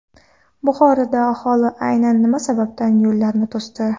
Buxoroda aholi aynan nima sababdan yo‘llarni to‘sdi?.